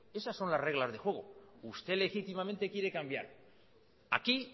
esas son las reglas del juego usted legítimamente quiere cambiar aquí